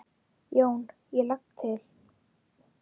JÓN: Ég legg til.